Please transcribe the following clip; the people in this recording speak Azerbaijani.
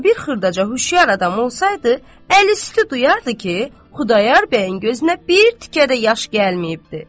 Amma bir xırdaca xüşyar adam olsaydı, əl üstü duyardı ki, Xudayar bəyin gözünə bir tikə də yaş gəlməyibdir.